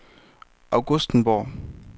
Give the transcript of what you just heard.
Augustenborg